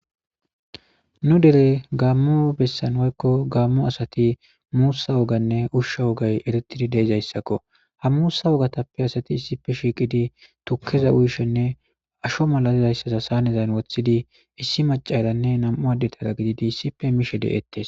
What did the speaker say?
Nu dere gaammo bessan woykko gaamo asati muusa wogginne ushsha woggi eretizi dizayssakko. Ha muussa woggatappe asati issippe shiiqidi tukkeza uyishinne asho mala dizayssa sahanezan woththidi issi maccararnne nam7u addera gididi issippe mishshe de7etees.